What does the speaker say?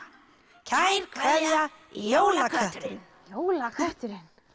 kær kveðja jólakötturinn jólakötturinn